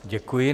Děkuji.